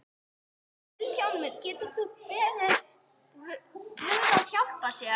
Vilhjálmur getur beðið guð að hjálpa sér.